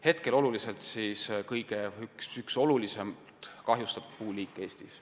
Hetkel on kuusk üks kõige olulisemalt kahjustatud puuliike Eestis.